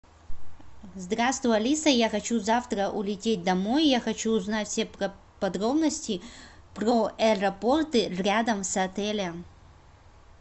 здравствуй алиса я хочу завтра улететь домой я хочу узнать все подробности про аэропорты рядом с отелем